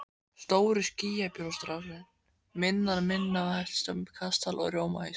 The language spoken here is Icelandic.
Stórir skýjabólstrarnir minna helst á kastala úr rjómaís.